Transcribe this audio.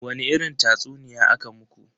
Wani irin tatsuniya aka muku?